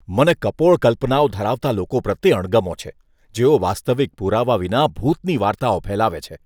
મને કપોળ કલ્પનાઓ ધરાવતા લોકો પ્રત્યે અણગમો છે, જેઓ વાસ્તવિક પુરાવા વિના ભૂતની વાર્તાઓ ફેલાવે છે.